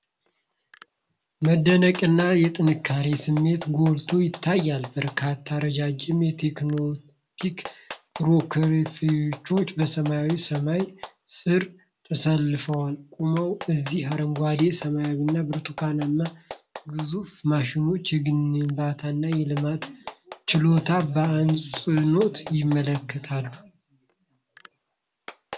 መደነቅና የጥንካሬ ስሜት ጎልቶ ይታያል። በርካታ ረጃጅም የቴሌስኮፒክ ፎርክሊፍቶች በሰማያዊ ሰማይ ስር ተሰልፈው ቆመዋል። እነዚህ አረንጓዴ፣ ሰማያዊና ብርቱካናማ ግዙፍ ማሽኖች የግንባታንና የልማትን ችሎታ በአጽንኦት ያመለክታሉ።